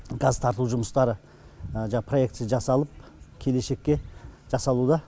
газ тарту жұмыстары жаңағы проектісі жасалып келешекке жасалуда